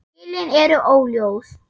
Skilin eru óljós.